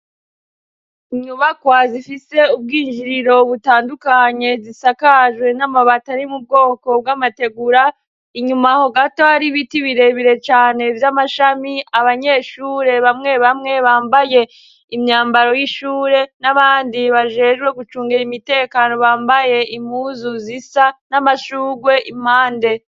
Inyubakwa zifise ubwinjiriro butandukanye zisakajwe n'amabatari mu bwoko bw'amategura inyuma aho gato ari biti birebire cane vy'amashami abanyeshure bamwe bamwe bambaye imyambaro y'ishure n'abandi bajerwe gucungera imitekano bambaye imuwe buzuzisa n'amashugwe impande.